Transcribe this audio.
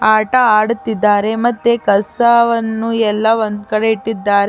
ಆಟ ಆಡುತ್ತಿದ್ದಾರೆ ಮತ್ತೆ ಕಸವನ್ನು ಎಲ್ಲಾ ಒಂದ್ ಕಡೆ ಇಟ್ಟಿದ್ದಾರೆ .